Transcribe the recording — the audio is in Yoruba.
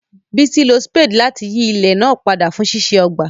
Bisi lo spade láti yí ilẹ̀ náà padà fún ṣíṣe ọgbà.